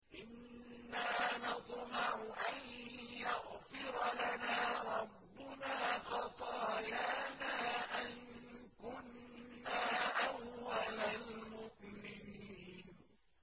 إِنَّا نَطْمَعُ أَن يَغْفِرَ لَنَا رَبُّنَا خَطَايَانَا أَن كُنَّا أَوَّلَ الْمُؤْمِنِينَ